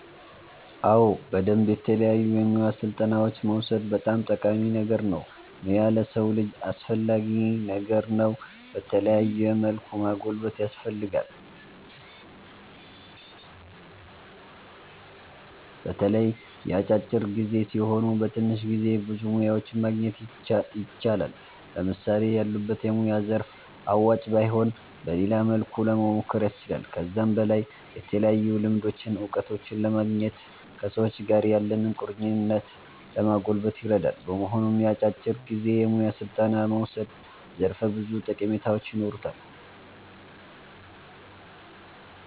አዎ በደምብ የተለያዩ የሙያ ስልጠናዎችን መዉሰድ በጣም ጠቃሚ ነገር ነዉ ሙያ ለሰዉ ልጅ አስፈላጊ ነገር ነዉ በተለያዩ መልኩ ማጎልበት ያስፈልጋል። በተለይ የአጫጭር ጊዜ ሲሆኑ በትንሽ ጊዜ ብዙ ሙያዎችን ማግኘት ይቻላል። ለምሳሌ ያሉበት የሙያ ዘርፍ አዋጭ ባይሆን በሌላ መልኩ ለሞሞከር ያስችላል። ከዛም በላይ የተለያዩ ልምዶችን እዉቀቶችን ለማግኘት ከሰዎች ጋር ያለንን ቁርኝት ለማጎልበት ይረዳል። በመሆኑም የአጫጭር ጊዜ የሙያ ስልጠና መዉሰድ ዘርፈ ብዙ ጠቀሜታዎች ይኖሩታል